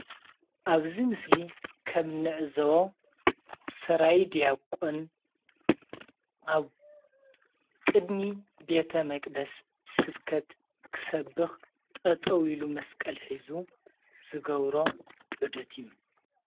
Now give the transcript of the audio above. ኣብዚ ምስሊ ከም እንዕዘቦ ሰራይ ድያቆን ኣብ ቅድሚ ቤተ መቅደስ ስብከት ክሰብክ ጠጠው ኢሉ መስቀል ሒዙ ዝገብሮ ዑደት እዩ፡፡